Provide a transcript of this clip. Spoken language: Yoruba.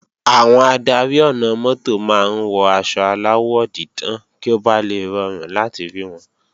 Àwọn adarí ọ̀nà-mọ́tò máa ń wọ aṣọ aláwọ̀ dídán kí ó bà le rọrùn láti rí wọn